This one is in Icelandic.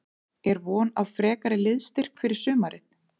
Er von á frekari liðsstyrk fyrir sumarið?